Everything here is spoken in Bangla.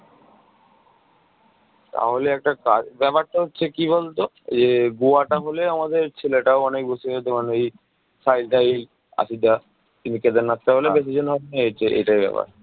তাহলে একটা কাজ, ব্যাপারটা হচ্ছে কি বলতো এই যে গোয়াটা হলে আমাদের ছেলেটাও অনেক বেশি হয়ে যেত ওই সাহিল টাহিল আসিফ দা। কিন্তু কেদারনাথটা হলে বেশি জন হবেনা এই হচ্ছে এইটাই ব্যাপার